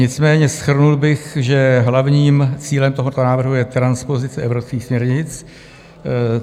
Nicméně shrnul bych, že hlavním cílem tohoto návrhu je transpozice evropských směrnic.